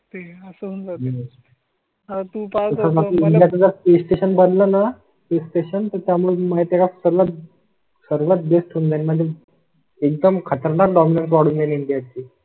असं जातील तुपाळ मला स्टेशन बदलांना स्टेशन त्यामुळे माहिती गोळा करण्यात भेटून जाईल. म्हणजे एकदम खतरनाक डाउनलोड होईल याची.